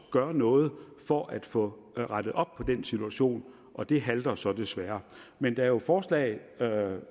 gøre noget for at få rettet op på den situation og det halter jo så desværre men der er forslag